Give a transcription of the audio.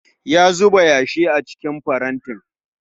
Ya zuba yashi a cikin farantin